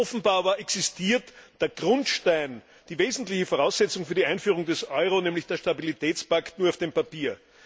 Offenbar aber existiert der Grundstein, die wesentliche Voraussetzung für die Einführung des Euro, nämlich der Stabilitätspakt, nur auf dem Papier.